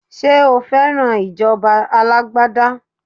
Ṣé o fẹ́ràn ìjọba alágbádá?